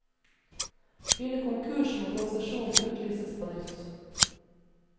Blir det konkurs, må konsesjonen utlyses på nytt.